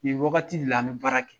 Ni waagati de la an bɛ baara kɛ